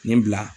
Nin bila